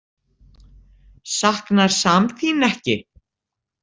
Saknar Sam þín ekki?